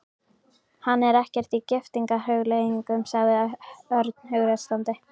Hann er ekkert í giftingarhugleiðingum, sagði Örn hughreystandi.